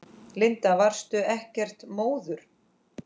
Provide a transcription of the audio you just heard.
Linda: Varstu ekkert móður?